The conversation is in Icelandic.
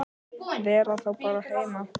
Vera þá bara heima?